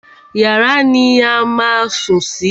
Yàrá ni a má a ń sùn sí.